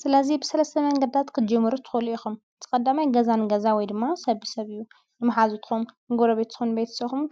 ስለዙይ ብሠለ ሰመ ኣንገዳት ክጅሙሩ ትኸሉ ኢኹም ዝቐዳማይ ገዛን ገዛ ወይ ድማ ሰብ ሰብእዩ ንመኃዚ ትኹም ንጐሮ ቤትን ቤይት ሰኹም